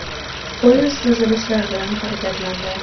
Poyezd uzilishlar bilan harakatlandi.